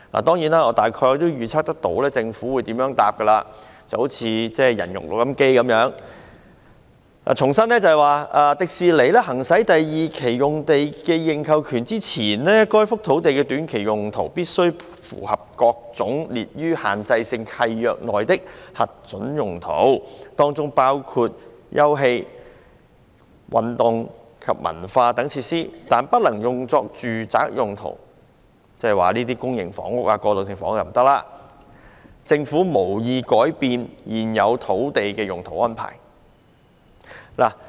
當然，我大概預料到政府將如何回答——恍如"人肉錄音機"一樣——重申在迪士尼公司"行使第二期用地的認購權之前，該幅土地的短期用途須符合各類列於限制性契約內的核准用途，當中包括休憩、體育及文化等設施，但不能用作住宅用途"——即公營房屋和過渡性房屋均不可興建——政府"無意改變現有土地用途安排。